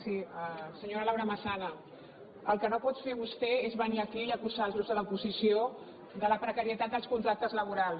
sí senyora laura massana el que no pot fer vostè és venir aquí i acusar els grups de l’oposició de la precarietat dels contractes laborals